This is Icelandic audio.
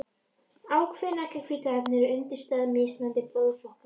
Ákveðin eggjahvítuefni eru undirstaða mismunandi blóðflokka.